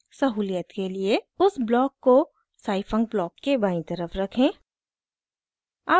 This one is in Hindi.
सहूलियत के लिए उस ब्लॉक को scifunc ब्लॉक के बायीं तरफ रखें